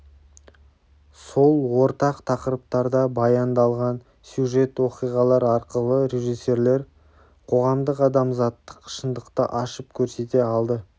сол ортақ тақырыптарда баяндалған сюжет-оқиғалар арқылы режиссерлер қоғамдық-адамзаттық шындықты ашып көрсете алды